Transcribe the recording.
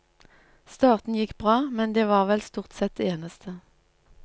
Starten gikk bra, men det var vel stort sett det eneste.